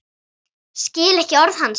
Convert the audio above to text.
Skil ekki orð hans.